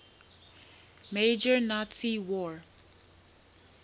major nazi war